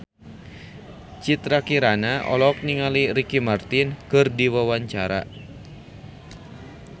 Citra Kirana olohok ningali Ricky Martin keur diwawancara